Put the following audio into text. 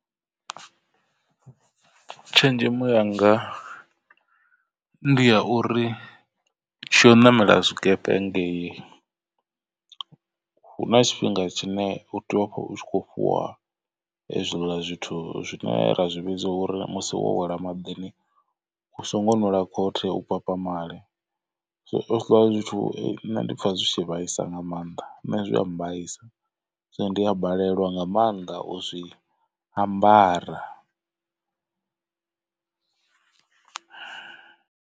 Tshenzhemo yanga ndi ya uri tshi ya u ṋamela tshikepe ngei hu na tshifhinga tshine u tea uvha u kho fhiwa hezwiḽa zwithu zwine ra zwi vhidza uri musi wo wela maḓini u songo nwela khothe. U papamale so hezwiḽa zwithu nṋe ndi pfha zwi tshi vhaisa nga maanḓa nṋe zwia mbaisa so ndi a balelwa nga maanḓa u zwi ambara.